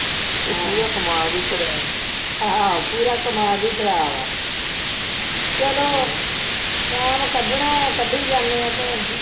ਆਹੋ ਪੂਰਾ ਕਮਾਦ ਹੀ ਖਰਾਬ ਹੈ, ਚਲੋ ਹਮ ਟੈਮ ਕੱਢਣਾ ਆ ਕੱਢੀ ਜਾਂਦੇ ਹਾਂ ਭੈਣਜੀ